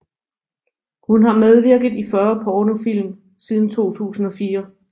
Hun har medvirket i 40 pornofilm siden 2004